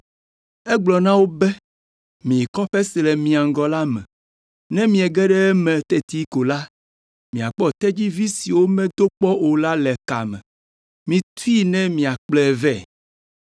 Egblɔ na wo be, “Miyi kɔƒe si le mia ŋgɔ la me. Ne miege ɖe eme teti ko la, miakpɔ tedzivi si womedo kpɔ o la le ka me. Mitui ne miakplɔe vɛ.